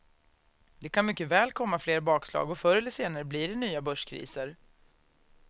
Det kan mycket väl komma fler bakslag och förr eller senare blir det nya börskriser.